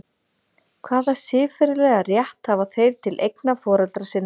Hvaða siðferðilega rétt hafa þeir til eigna foreldra sinna?